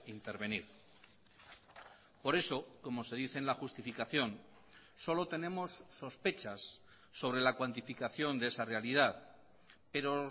intervenir por eso como se dice en la justificación solo tenemos sospechas sobre la cuantificación de esa realidad pero